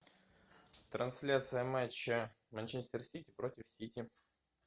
трансляция матча манчестер сити против сити